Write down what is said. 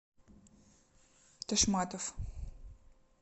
ташматов